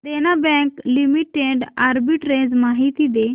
देना bank limited arbitrage माहिती दे